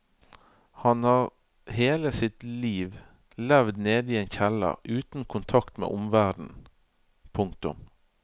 Han har hele sitt liv levd nede i en kjeller uten kontakt med omverdenen. punktum